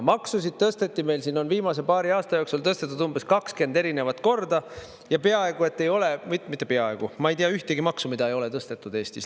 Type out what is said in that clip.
Maksusid tõsteti, meil siin on viimase paari aasta jooksul tõstetud umbes 20 erinevat korda, ja peaaegu et ei ole, mitte peaaegu, ma ei tea ühtegi maksu, mida ei ole tõstetud Eestis.